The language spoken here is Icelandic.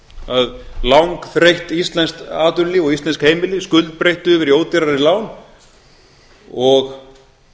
að langþreytt atvinnulíf og íslensk heimili skuldbreyttu yfir í ódýrari lán og